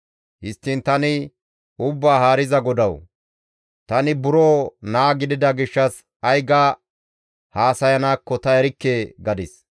Histtiin tani, «Ubbaa Haariza GODAWU! Tani buro naa gidida gishshas ay ga haasayanaakko ta erikke» gadis.